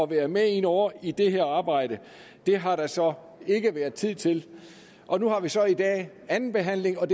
være med ind over i det her arbejde det har der så ikke været tid til og nu har vi så i dag anden behandling og